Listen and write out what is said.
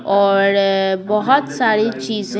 और बहुत सारी चीज़ें--